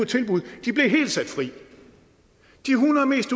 tilbud de blev helt sat fri de hundrede mest